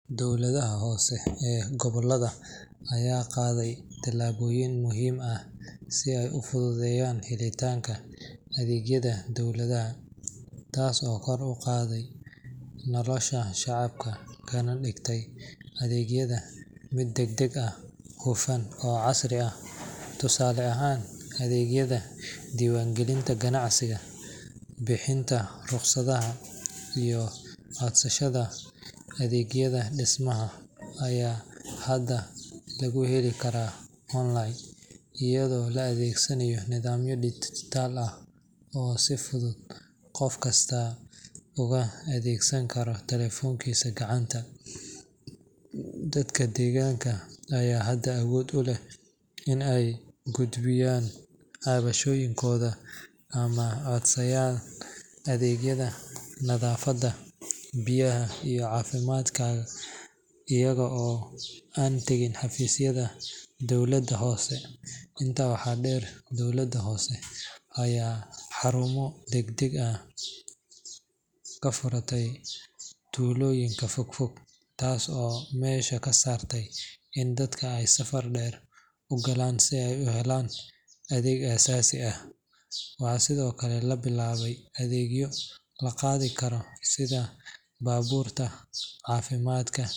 Dowladaha hoose ee gobollada ayaa qaaday tallaabooyin muhiim ah si ay u fududeeyaan helitaanka adeegyada dadweynaha, taas oo kor u qaadday nolosha shacabka kana dhigtay adeegyada mid degdeg ah, hufan, oo casri ah. Tusaale ahaan, adeegyada diiwaangelinta ganacsiga, bixinta rukhsadaha, iyo codsashada adeegyada dhismaha ayaa hadda lagu heli karaa online, iyadoo la adeegsanayo nidaamyo dijitaal ah oo si fudud qof kasta uga adeegsan karo taleefankiisa gacanta. Dadka deegaanka ayaa hadda awood u leh in ay gudbiyaan cabashooyinkooda ama codsadaan adeegyada nadaafadda, biyaha, iyo caafimaadka iyaga oo aan tagin xafiisyada dowladda hoose. Intaa waxaa dheer, dowladaha hoose ayaa xarumo adeeg degdeg ah ka furay tuulooyinka fogfog, taas oo meesha ka saartay in dadka ay safar dheer u galaan si ay u helaan adeeg aasaasi ah. Waxaa sidoo kale la bilaabay adeegyo la qaadi karo sida baabuurta caafimaadka.